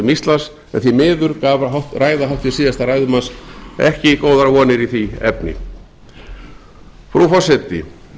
íslands en því miður gaf ræða háttvirts síðasta ræðumanns ekki góðar vonir í því efni frú forseti